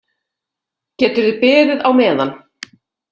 Geturðu beðið á meðan.